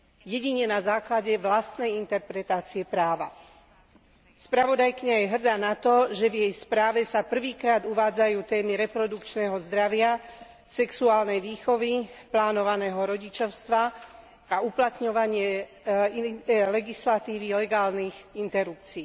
Jedine na základe vlastnej interpretácie práva. Spravodajkyňa je hrdá na to, že v jej správe sa prvýkrát uvádzajú témy reprodukčného zdravia, sexuálnej výchovy, plánovaného rodičovstva a uplatňovanie legislatívy legálnych interrupcií.